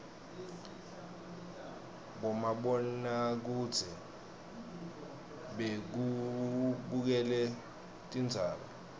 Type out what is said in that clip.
bomabonakudze bekubukela tindzaba